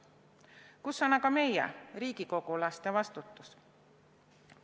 Kus on aga meie, riigikogulaste vastutus?